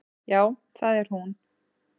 Já, það er hún.